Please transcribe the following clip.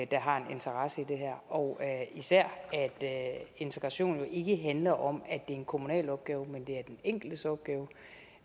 der har en interesse i det her og især at integrationen jo ikke handler om at en kommunal opgave men det er den enkeltes opgave